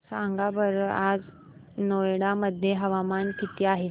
सांगा बरं आज नोएडा मध्ये तापमान किती आहे